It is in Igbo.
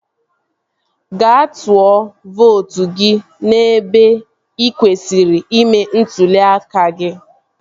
Gaa tụọ vootu gị n'ebe ị kwesịrị ime ntụli aka gị